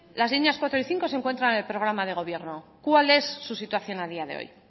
las líneas cuatro y cinco se encuentran en el programa de gobierno cuál es su situación a día de hoy